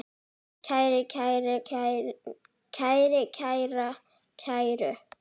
kæri, kæra, kæru